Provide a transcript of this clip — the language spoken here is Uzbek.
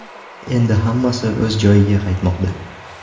Endi hammasi o‘z joyiga qaytmoqda.